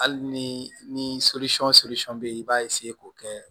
Hali ni be yen i b'a k'o kɛ